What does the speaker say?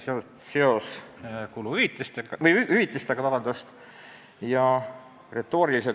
Ka see oli seotud hüvitise maksmisega.